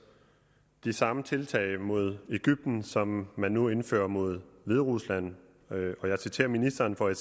de samme tiltag mod egypten som man nu indfører mod hviderusland og jeg citerer ministeren for i